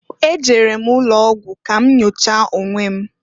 Ejere m ụlọogwụ ka m nyochaa onwe m.